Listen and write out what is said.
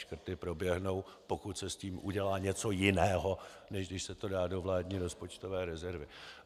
Škrty proběhnou, pokud se s tím udělá něco jiného, než když se to dá do vládní rozpočtové rezervy.